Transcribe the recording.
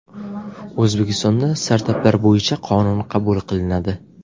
O‘zbekistonda startaplar bo‘yicha qonun qabul qilinadi.